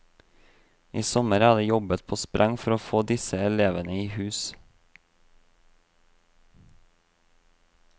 I sommer er det jobbet på spreng for å få disse elevene i hus.